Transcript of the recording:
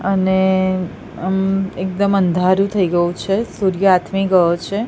અને મ એકદમ અંધારું થઈ ગયું છે સૂર્ય આથમી ગયો છે.